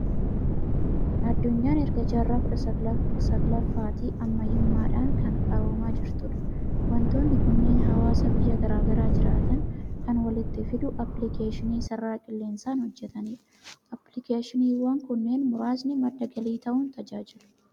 Addunyaan erga jaarraa kudha salgaffaatii ammayyummaadhaan ka qaroomaa jirtudha. Waantonni kunneen hawaasa biyya garaa garaa jiraatan kan walitti fidu, aappilikeeshinii sarara qilleensaan hojjetanidha. Aappilikeeshiniiwwan kunneen muraasni madda galii ta'uun tajaajilu.